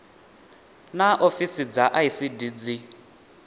naa ofisi dza icd dzi